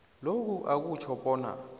lokhu akutjho bona